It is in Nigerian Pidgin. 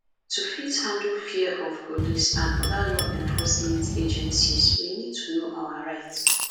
to fit handle fear of police and oda law enforcement agencies we need to know our rights